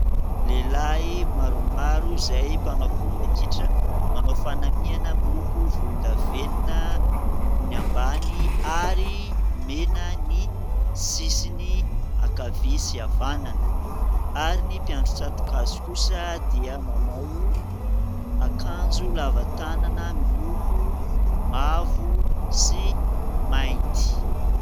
Lehilahy maromaro izay mpanao baolina kitra, manao fanamiana miloko volondavenona ambony ambany ary mena ny sisiny ankavia sy havanana ; ary ny mpiandry tsato-kazo kosa dia manao akanjo lava tanana miloko mavo sy mainty.